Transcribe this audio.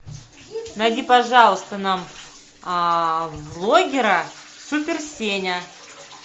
найди пожалуйста нам блогера супер сеня